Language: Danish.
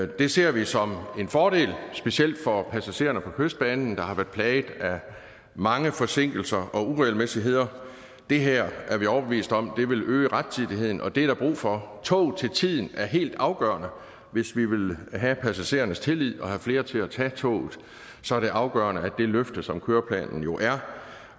det ser vi som en fordel specielt for passagererne på kystbanen der har været plaget af mange forsinkelser og uregelmæssigheder det her er vi overbevist om vil øge rettidigheden og det er der brug for tog til tiden er helt afgørende hvis vi vil have passagerernes tillid og vil have flere til at tage toget så er det afgørende at det løfte som køreplanen jo er